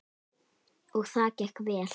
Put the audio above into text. Og það gekk vel.